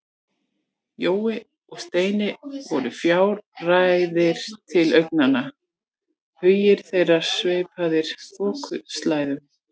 Jói og Steini voru fjarrænir til augnanna, hugir þeirra sveipaðir þokuslæðum.